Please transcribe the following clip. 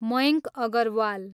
Mayank Agarwal